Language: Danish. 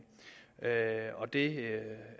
og det